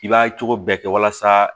I b'a cogo bɛɛ kɛ walasa